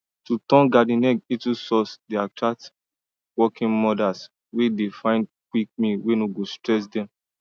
to turn garden egg into sauce dey attract working mothers wey dey find quick meal wey no go stress dem